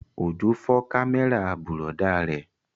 Òjó fọ́ kámẹ́rà bùrọ̀dá rẹ̀